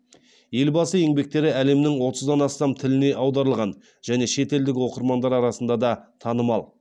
елбасы еңбектері әлемнің отыздан астам тіліне аударылған және шетелдік оқырмандар арасында да танымал